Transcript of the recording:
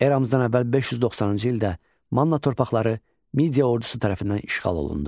Eradan əvvəl 590-cı ildə Manna torpaqları Midiya ordusu tərəfindən işğal olundu.